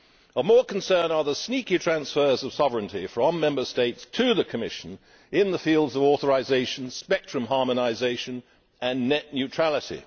Of more concern are the sneaky transfers of sovereignty from Member States to the Commission in the fields of authorisation, spectrum harmonisation and net neutrality.